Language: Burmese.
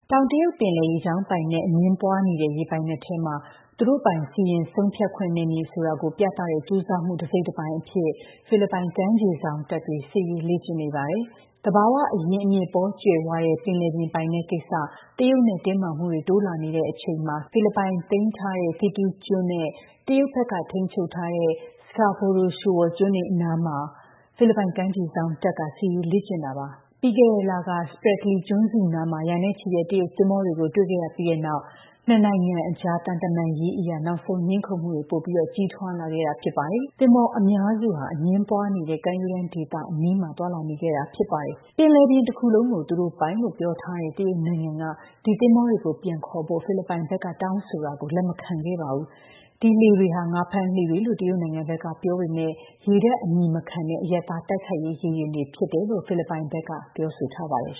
တောင်တရုတ်ပင်လယ် ရေကြောင်းပိုင်နက် အငြင်းပွားနေတဲ့ ရေပိုင်နက်ထဲမှာ သူတို့ပိုင် စီရင်ဆုံးဖြတ်ခွင့်နယ်မြေဆိုတာ ပြသတဲ့ ကြိုးစားမှု တစိတ်တပိုင်းအဖြစ် ဖိလစ်ပိုင် ကမ်းခြေစောင့်တပ်တွေ စစ်ရေးလေ့ကျင့်နေပါတယ်။ သဘာဝအရင်းအမြစ် ပေါကြွယ်ဝတဲ့ ပင်လယ်ပြင်ပိုင်နက်ကိစ္စ တရုတ်နဲ့ တင်းမာမှုတွေ တိုးလာနေတဲ့အချိန် ဖိလစ်ပိုင်သိမ်းထားတဲ့ Thitu ကျွန်းနဲ့ တရုတ်ဘက်က ထိန်းချုပ်တဲ့ Scarborough Shoal ကျွန်းတွေအနားမှာ ဖိလစ်ပိုင် ကမ်းခြေစောင့်တပ် စစ်ရေးလေ့ကျင့်တာပါ။ ပြီးခဲ့တဲ့လက Spratly ကျွန်းစုနားမှာ ရာနဲ့ချီတဲ့ တရုတ်သင်္ဘောတွေကို တွေ့ခဲ့ရပြီးတဲ့နောက် နှစ်နိုင်ငံအကြား သံတမန်ရေးအရ နောက်ဆုံး ငြင်းခုံမှုတွေ ပိုပြီး ကြီးထွားလာခဲ့တာပါ။ သင်္ဘောအများစုဟာ အငြင်းပွားနေတဲ့ ကမ်းရိုးတန်းဒေသ အနီးမှာ သွားလာနေခဲ့တာ ဖြစ်ပါတယ်။ ပင်လယ်ပြင်တခုလုံးကို သူတို့ပိုင်လို့ ပြောထားတဲ့ တရုတ်နိုင်ငံက ဒီသင်္ဘောတွေကို ပြန်ခေါ်ဖို့ ဖိလစ်ပိုင်ဘက်က တောင်းဆိုတာကို လက်မခံခဲ့ပါဘူး။ ဒီလှေတွေဟာ ငါးဖမ်းလှေတွေလို့ တရုတ်နိုင်ငံဘက်က ပြောပေမယ့် ရေတပ်အမည်မခံတဲ့ အရပ်သား တိုက်ခိုက်ရေးရေယာဉ်တွေ ဖြစ်တယ်လို့ ဖိလစ်ပိုင်ဘက်က ပြောဆိုထားပါတယ်